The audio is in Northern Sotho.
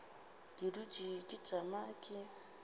ke dutše ke tšama ke